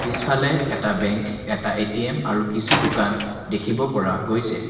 পিছফালে এটা বেংক এটা এ_টি_এম আৰু কিছু দোকান দেখিব পৰা গৈছে।